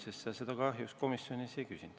Seda sa kahjuks komisjonis ei teinud.